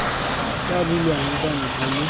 tla bulwang kwa ntle le